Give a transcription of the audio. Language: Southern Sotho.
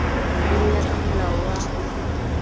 le ho ya kamolao wa